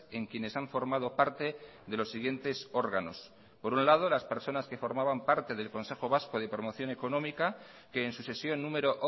en quienes han formado parte de los siguientes órganos por un lado las personas que formaban parte del consejo vasco de promoción económica que en su sesión número